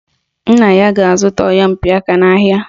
Nna ga-azụta oyompịaka n'ahịa